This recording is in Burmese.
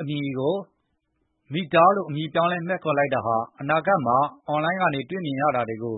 အမည်ကို Meta လို့အမည်ပြောင်းလဲမှည့်ခေါ်လိုက်တာဟာ အနာဂတ်မှာ အွန်လိုင်းကနေတွေ့မြင်ရတာတွေကို